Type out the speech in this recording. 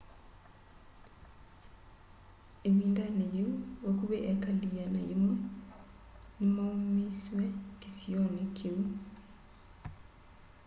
ĩvindanĩ yĩu vakuvĩ eekali 100 nĩ maumisyw'e kĩsionĩ kĩu